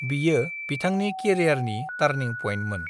बियो बिथांनि केरियारनि टार्निं पइन्टमोन।